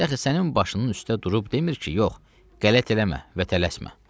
Dəxi sənin başının üstə durub demir ki, yox, qələt eləmə və tələsmə.